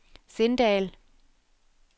Sindal